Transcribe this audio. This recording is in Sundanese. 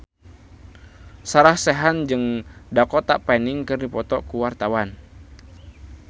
Sarah Sechan jeung Dakota Fanning keur dipoto ku wartawan